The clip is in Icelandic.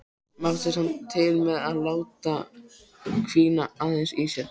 Mátti samt til með að láta hvína aðeins í sér.